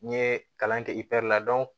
N ye kalan kɛ la